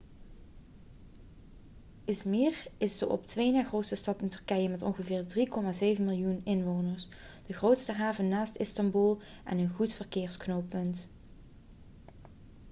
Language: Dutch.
i̇zmir is de op twee na grootste stad in turkije met ongeveer 3,7 miljoen inwoners de grootste haven naast istanbul en een goed verkeersknooppunt